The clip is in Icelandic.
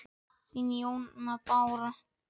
Þín, Jóna Bára.